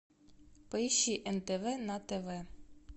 поищи нтв на тв